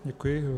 Děkuji.